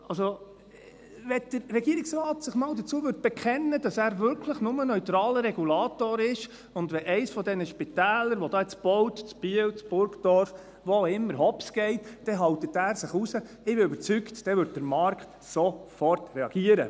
Also: Wenn sich der Regierungsrat mal dazu bekennen würde, dass er wirklich nur neutraler Regulator ist und dass er sich raushält, wenn eines der Spitäler, die jetzt da gebaut werden, in Biel, in Burgdorf, wo auch immer, hopsgeht, dann würde der Markt, davon bin ich überzeugt, reagieren: